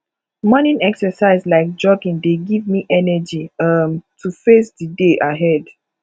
morning exercise like jogging dey give me energy um to face di day ahead